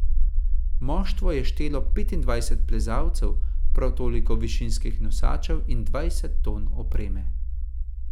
Moštvo je štelo petindvajset plezalcev, prav toliko višinskih nosačev in dvajset ton opreme.